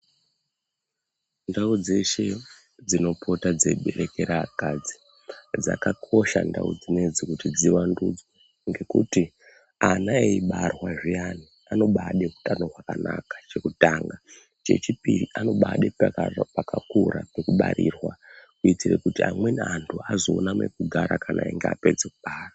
Ndau dzeshe dzinopota dzeibetekera akadzi, dzakakosha ndau dzinedzi kuti dziwandudzwe, ngekuti ana eibairwa zviyani, anobaade utano hwakanaka chekutanga. Chechipiri anobaada pakakura pekubarirwa kuitire kuti amweni anhu azoona mekugara kana einga apedza kubara.